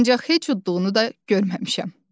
Ancaq heç udduğunu da görməmişəm.